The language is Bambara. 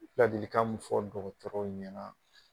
Ladilikan mun fɔ dɔgɔtɔrɔw ɲɛna